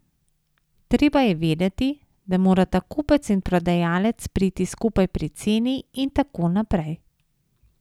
Treba je vedeti, da morata kupec in prodajalec priti skupaj pri ceni in tako naprej.